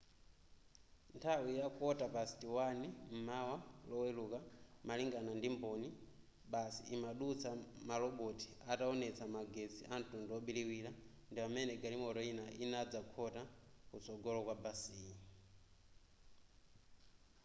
nthawi ya 1:15 m'mawa loweluka malingana ndi mboni basi imadutsa maloboti ataonetsa magetsi amtundu obiriwira ndi pamene galimoto ina inadzakhota kutsogola kwa basiyi